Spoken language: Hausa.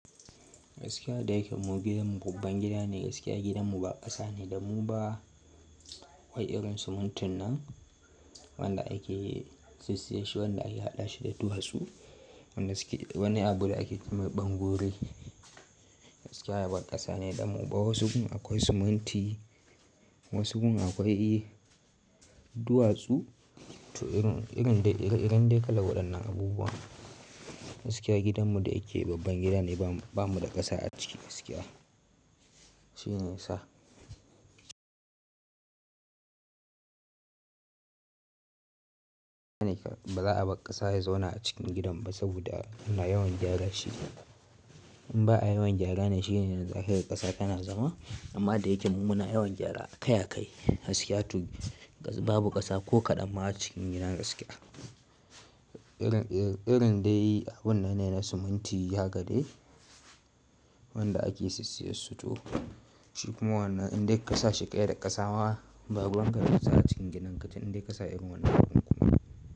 Gaskiya da yake mu gidanmu babban gida ne, gaskiya gidanmu ba ƙasa ne da mu ba wai irin simintin nan wanda ake sissiye shi, wanda ake haɗa shi da duwatsu. Wannan abu da ake ce mai ɓangore. Gaskiya ba ƙasa ne da mu ba. Wasu gun akwai siminti, wasu gun akwai duwatsu to irin dai ire-iren kalar waɗannan abubuwa. Gaskiya gidanmu da yake babban gida ne, ba mu da ƙasa a ciki gaskiya. Shine yasa. Ba za a bar ƙasa ya zauna a cikin gidan ba saboda muna yawan gyara shi. In ba a yawan gyara ne shine zakaga ƙasa tana zama. Amma da yake mu muna yawan gyara a kai a kai, gaskiya to babu ƙasa ko kaɗan ma a cikin gidan gaskiya. Irin dai abun nan ne na siminti haka deh wanda ake sissiye su to shi kuma wannan indai ƙasa shi ƙai da ƙasa ma, baruwanka da kasa acikin gidan ka tin indai ƙasa irin wannan abun kuma.